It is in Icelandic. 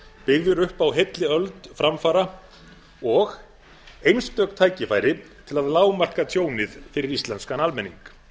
byggðir upp á heilli öld framfara og einstök tækifæri til að lágmarka tjónið fyrir íslenskan almenning